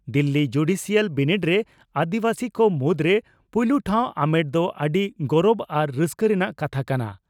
Delhi judicial ᱵᱤᱱᱤᱰ ᱨᱮ ᱟᱹᱫᱤᱵᱟᱹᱥᱤ ᱠᱚ ᱢᱩᱫᱽᱨᱮ ᱯᱩᱭᱞᱩ ᱴᱷᱟᱣ ᱟᱢᱮᱴ ᱫᱚ ᱟᱹᱰᱤ ᱜᱚᱨᱚᱵᱽ ᱟᱨ ᱨᱟᱹᱥᱠᱟᱹ ᱨᱮᱱᱟᱜ ᱠᱟᱛᱷᱟ ᱠᱟᱱᱟ